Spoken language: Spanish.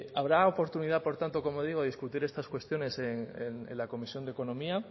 habrá oportunidad por tanto como digo de discutir estas cuestiones en la comisión de economía